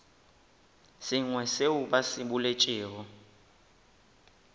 sengwe seo ba se boletšego